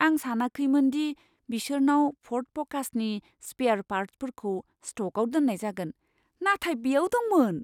आं सानाखैमोन दि बिसोरनाव फ'र्ड फ'कासनि स्पेयार पार्टफोरखौ स्ट'कआव दोननाय जागोन, नाथाय बेयाव दंमोन!